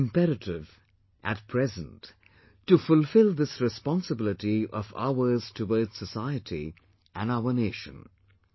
It is imperative at present to fulfill this responsibility of ours towards society and our nation